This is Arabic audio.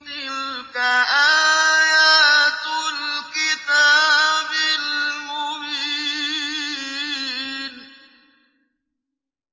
تِلْكَ آيَاتُ الْكِتَابِ الْمُبِينِ